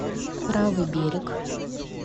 правый берег